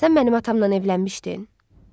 Sən mənim atamla evlənmişdin?